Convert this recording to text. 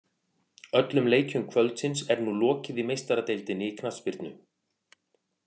Öllum leikjum kvöldsins er nú lokið í Meistaradeildinni í knattspyrnu.